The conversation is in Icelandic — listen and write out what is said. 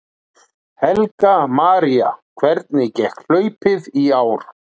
Helga María: Hvernig gekk hlaupið í ár?